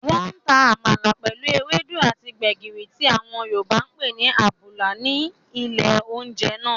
Wọ́n ta àmàlà pẹ̀lú ewédú àti gbẹ̀gìrì tí àwọn yorùbá ǹ pé ní àbùlà rí ní ilé oúnjẹ náà